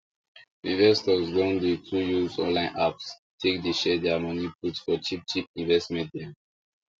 investors don dey too use online apps take dey share their money put for cheap cheap investments dem